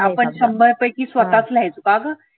आपण शंभर पैकी स्वतःच लिहायचो. का ग?